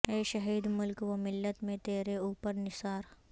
اے شہید ملک و ملت میں ترے اوپر نثار